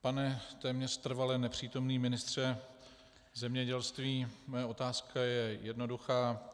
Pane téměř trvale nepřítomný ministře zemědělství, má otázka je jednoduchá.